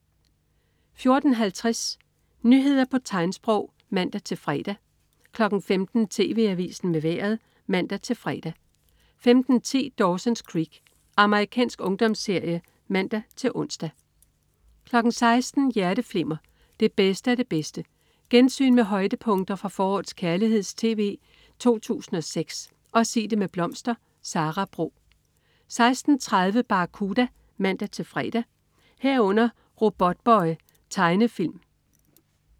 14.50 Nyheder på tegnsprog (man-fre) 15.00 TV Avisen med Vejret (man-fre) 15.10 Dawson's Creek. Amerikansk ungdomsserie (man-ons) 16.00 Hjerteflimmer. Det bedste af det bedste. Gensyn med højdepunkter fra forårets kærligheds-tv 2006 og "Sig det med blomster". Sara Bro 16.30 Barracuda (man-fre) 16.30 Robotboy. Tegnefilm (man-fre)